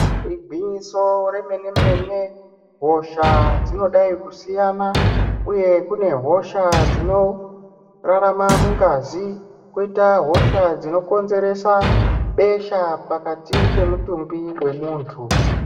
Igwinyiso remene mene hosha dzinodai kusiyana uye kune hosha dzinorarama mungazi koita hosha dzinokonzeresa besha pakati pemutumbi pemuntu.